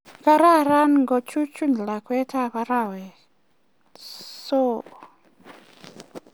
Kararan ngo chuchu lakwet ab arawek soo